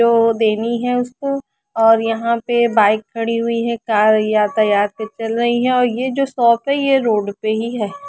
जो देनी है उसको और यहाँ पे बाइक खडी हुई है का यातायात चल रही है और ये जो शॉप है ये रोड पे ही है।